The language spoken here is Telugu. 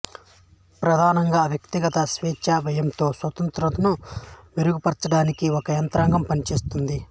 ప్రధానంగా వ్యక్తిగత స్వేచ్ఛ వ్యయంతో స్వతంత్రతను మెరుగుపర్చడానికి ఒక యంత్రాంగం పనిచేసింది